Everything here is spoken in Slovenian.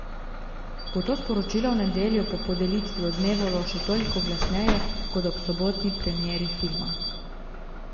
Bo to sporočilo v nedeljo po podelitvi odmevalo še toliko glasneje kot ob sobotni premieri filma?